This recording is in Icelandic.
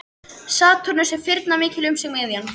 Satúrnus er firnamikill um sig miðjan.